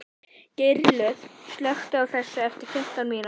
Geirlöð, slökktu á þessu eftir fimmtán mínútur.